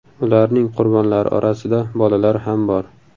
Ularning qurbonlari orasida bolalar ham bor.